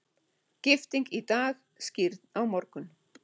Gifting í dag, skírn á morgun.